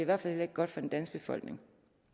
hvert fald heller ikke godt for den danske befolkning